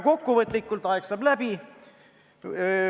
Aeg saab läbi.